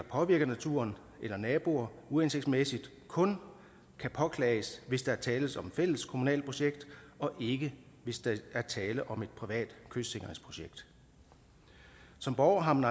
påvirker naturen eller naboer uhensigtsmæssigt kun kan påklages hvis der tales om et fælleskommunalt projekt og ikke hvis der er tale om et privat kystsikringsprojekt som borger har man